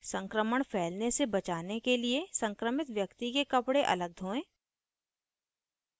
संक्रमण फैलने से बचाने के लिए संक्रमित व्यक्ति के कपड़े अलग धोएं